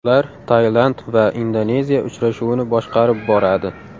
Ular Tailand va Indoneziya uchrashuvini boshqarib boradi .